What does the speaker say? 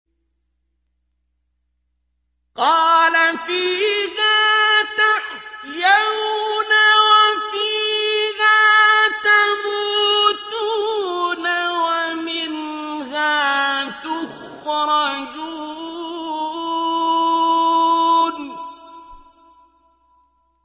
قَالَ فِيهَا تَحْيَوْنَ وَفِيهَا تَمُوتُونَ وَمِنْهَا تُخْرَجُونَ